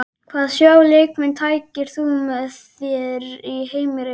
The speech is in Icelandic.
Hvaða þrjá leikmenn tækir þú með þér í heimsreisu?